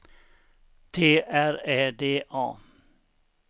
T R Ä D A